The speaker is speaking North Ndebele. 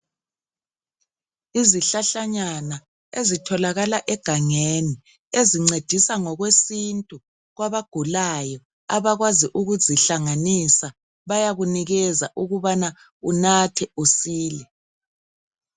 Izihlahla nyana ezitholakala egangeni ezincedisa ngokwesintu kwabagulayo abakwazi ukuzihlanganisa bayakunikeza ukubana unathe usile.